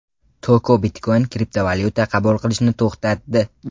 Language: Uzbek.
Toko Bitcoin kriptovalyuta qabul qilishni to‘xtatdi.